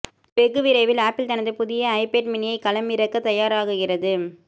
வெகு விரைவில் ஆப்பிள் தனது புதிய ஐபேட் மினியை களமிறக்க தயாராகுகிறது